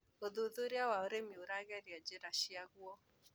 ũthuthuria wa ũrĩmi ũragĩria njĩra ciaguo.